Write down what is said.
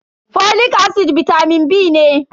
folic acid bitamin B ne.